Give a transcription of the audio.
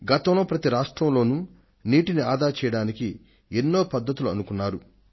ఈ మధ్య కాలంలో ప్రతి రాష్ట్రంలోనూ నీటిని ఆదా చేయడానికి అనేక పద్ధతులను పాటిస్తున్నారు